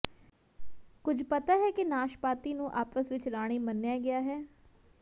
ਕੁਝ ਪਤਾ ਹੈ ਕਿ ਨਾਸ਼ਪਾਤੀ ਨੂੰ ਆਪਸ ਵਿੱਚ ਰਾਣੀ ਮੰਨਿਆ ਗਿਆ ਹੈ